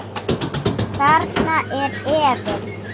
Þarna er efinn.